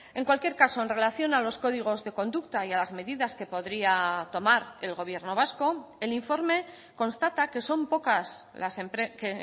en cualquier caso en relación a los códigos de conducta y a las medidas que podría tomar el gobierno vasco el informe constata que son pocas las que